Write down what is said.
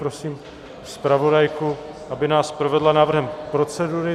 Prosím zpravodajku, aby nás provedla návrhem procedury.